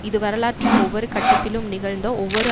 இது வரலாற்றின் ஒவ்வொரு கட்டத்திலும் நிகழ்ந்த ஒவ்வொரு